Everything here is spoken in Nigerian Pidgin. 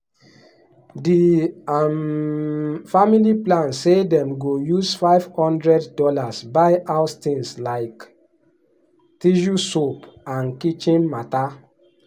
di um family plan say dem go use five hundred dollars buy house things like tissue soap and kitchen matter.